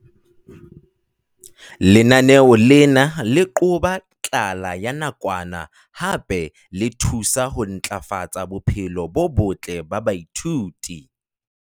Lenaneo lena le qoba tlala ya nakwana hape le thusa ho ntlafatsa bophelo bo botle ba baithuti.